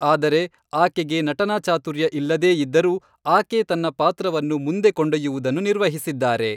ಆದರೆ, ಆಕೆಗೆ ನಟನಾ ಚಾತುರ್ಯ ಇಲ್ಲದೇ ಇದ್ದರೂ, ಆಕೆ ತನ್ನ ಪಾತ್ರವನ್ನು ಮುಂದೆ ಕೊಂಡೊಯ್ಯುವುದನ್ನು ನಿರ್ವಹಿಸಿದ್ದಾರೆ.